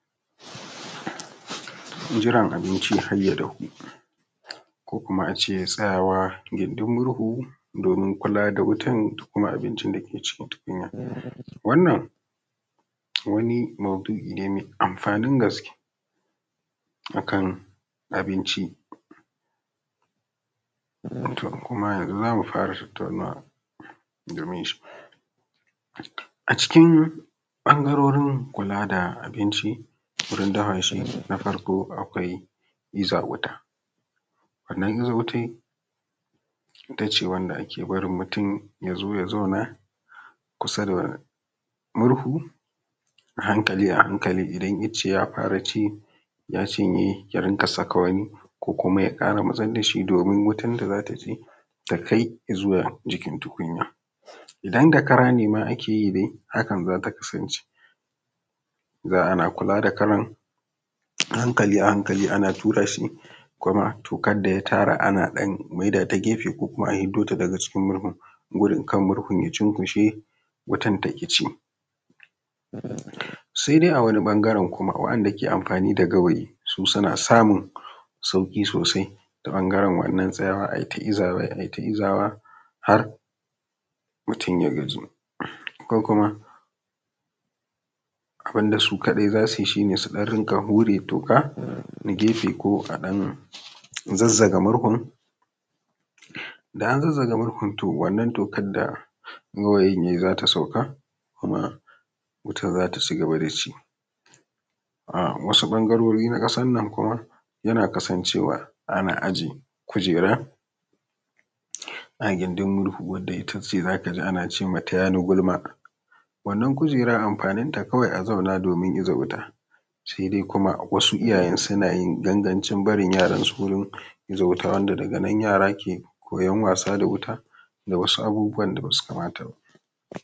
Jiran abinci har ya dafu, ko kuma ace tsayawa gindir murhu domin kula da wutan abincin dake cikin wutan, wannan wani mawdu’i ne mai amfanin gaske akan abinci to kuma yanzu zamu fara tattaunawa domin a cikin ɓangarorin kula da abinci wurin dafa shi, na farko akwai iza wuta wannan iza wutan it ace wanda ake barin mutum yazo ya zauna kusa da murhu a hankali a hankali idan ice ya fara ci ya cinye ya rinka saka wani ko kuma ya kara masar da hi domin wutan da zata ci ya kai zuwa jikin tukunya idan da kara ne ma ake yi haka zata kasance za ana kula da karan a hankali a hankali ana tura shi kuma tokar da ya tara ana dan tura ta gefe ko kuwa a fiddo ta daga cikin murhun gurin kar murhun ya cinkushe wutan taki ci, sai dai a wani ɓangaren kuma waɗanɗa ke amfani da gawayi su suna samun sauki sosai ta ɓangaren wannan tsayawa ayi ta izawa ayi ta izawa har mutum ya gaji ko kuma abun da su kadai zasu yi su dinga wure toka na gefe ko a dan zazzaga murhun da an zazzaga murhun to wannan tokan da gawayin yayi zata sauka kuma wutan zata ci gaba da ci, wasu ɓangarori na kasan nan kuma yana kasancewa ana ajiye kujaran a gindin murhu wanda itace zaka ji an ace mata tayani gulma wannan kujeran amfanin ta kawai a zauna domin iza wuta, sai dai kuma wasu iyayen suna yin gangancin barin yaran su wurin iza wuta wanda daga nan yara ke koyan wasa da wuta da wasu abubuwan da basu kamata ba.